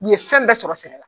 U ye fɛn bɛɛ sɔrɔ sɛnɛ na